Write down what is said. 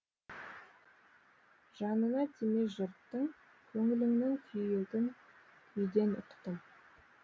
жанына тиме жұрттың көңіліңнің күйігін күйден ұқтым